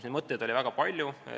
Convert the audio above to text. Neid mõtteid oli väga palju.